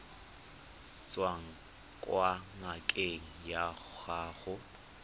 tswang kwa ngakeng ya gago